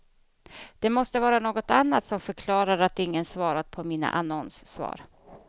Det måste vara något annat som förklarar att ingen svarat på mina annonssvar.